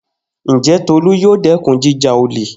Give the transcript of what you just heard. Njẹ Tolu yoo dẹkun jija ole?